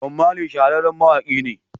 Bob Marley shahararren mawaƙi ne.